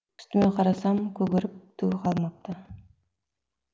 үстіме қарасам көгеріп түгі қалмапты